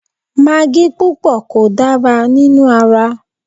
Magí púpọ̀ kò dára nínú ara